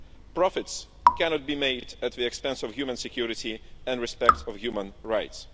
Profits cannot be made at the expense of human security and respect of human rights.